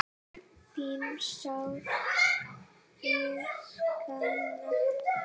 Þín sárt ég sakna.